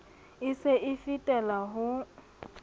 e se e fetela ho